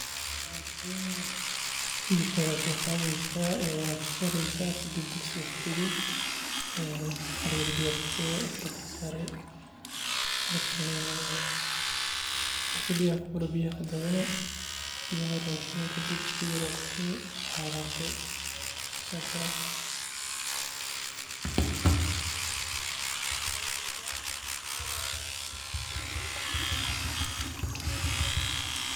Hilibka ayad soo qadeysa wad jarjareysa kadib digsiga ayad kurudeysa ee hala yar oo biya kushubi kadib dabka saare marka biyaha kuburan biyaha ayad kadaadini, biyaha markad kushubato kadib saliid yar ayad kushubi waa walaaqi sasad kukarini